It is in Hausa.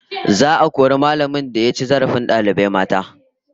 Za'a kori mallamin da ya ci zarafin dalibai mata